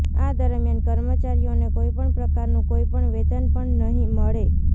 આ દરમિયાન કર્મચારીઓને કોઇપણ પ્રકારનું કોઇપણ વેતન પણ નહી મળે